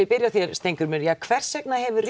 byrja á þér Steingrímur ja hvers vegna hefur